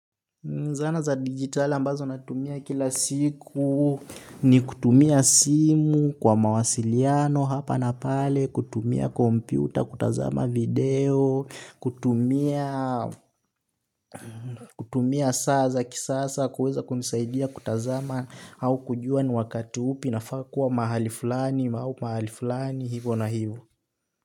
Zana za digitali ambazo natumia kila siku ni kutumia simu kwa mawasiliano hapa na pale, kutumia kompyuta, kutazama video, kutumia kutumia saa za kisasa kuweza kumisaidia kutazama au kujua ni wakati upi nafaa kuwa mahali fulani, au pahali fulani, hivo na hivo.